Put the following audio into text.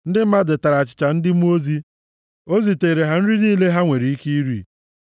Ndị mmadụ tara achịcha ndị mmụọ ozi. O zitere ha nri niile ha nwere ike iri.